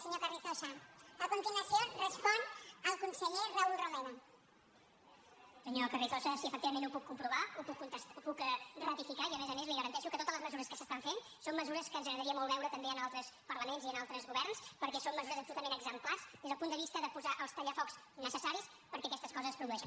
senyor carrizosa sí efectivament ho puc ratificar i a més a més li garanteixo que totes les mesures que s’estan fent són mesures que ens agradaria molt veure també en altres parlaments i en altres governs perquè són mesures absolutament exemplars des del punt de vista de posar els tallafocs necessaris perquè aquestes coses no es produeixin